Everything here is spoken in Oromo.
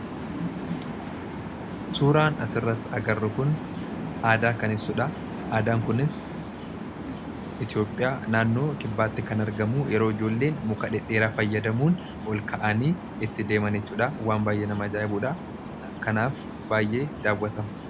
Suuraan asirratti agarru kun aadaa kan ibsudha. Aadaan kunis Itiyoophiyaa naannoo kibbaatti kan argamu yeroo ijoolleen muka dhedheeraa fayyadamuun ol ka'anii itti deeman jechuudha. Waan baay'ee nama ajaa'ibsiisudha. Kanaaf baay'ee daawwatama.